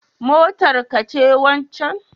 Motar ka ce wancen